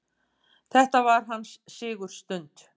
Þetta var hans sigurstund.